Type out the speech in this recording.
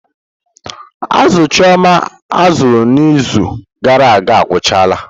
Azụ chioma azụrụ n'izu gara aga agwụchala.